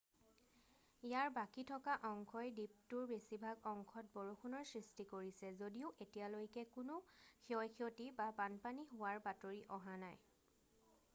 ইয়াৰ বাকী থকা অংশই দ্বীপটোৰ বেছিভাগ অংশত বৰষুণৰ সৃষ্টি কৰিছে যদিও এতিয়ালৈকে কোনো ক্ষয় ক্ষতি বা বানপানী হোৱাৰ বাতৰি অহা নাই